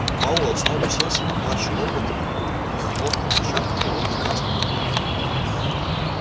пауэлл снова уселся на плачи робота и хлопнул перчаткой по его гигантской груди